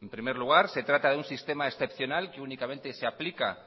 en primer lugar se trata de un sistema excepcional que únicamente se aplica